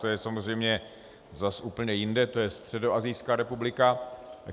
To je samozřejmě zase úplně jinde, to je středoasijská republika.